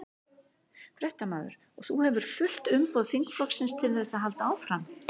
Fréttamaður: Og þú hefur fullt umboð þingflokksins til þess að halda áfram?